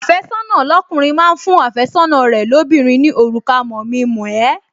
Àfẹ́sọ́nà lọ́kùnrin máa ń fún àfẹ́sọ́nà rẹ̀ lóbìnrin ní òrùka mọ̀-mi-mọ̀-ẹ́